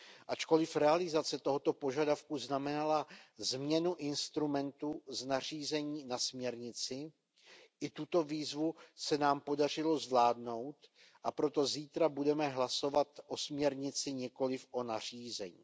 Ačkoliv realizace tohoto požadavku znamenala změnu instrumentu z nařízení na směrnici, i tuto výzvu se nám podařilo zvládnout, a proto zítra budeme hlasovat o směrnici, nikoliv o nařízení.